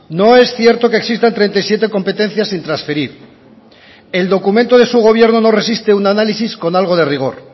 no es cierto que existan treinta y siete competencias sin transferir el documento de su gobierno no resiste un análisis con algo de rigor